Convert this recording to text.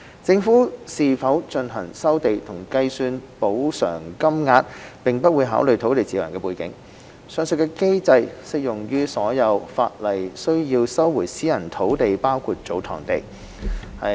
政府是否進行收地和計算補償金額並不會考慮土地持有人的背景，上述機制適用於所有按法例需要收回的私人土地包括祖堂地。